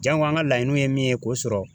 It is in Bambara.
Jango an ka laɲiniw ye min ye k'o sɔrɔ.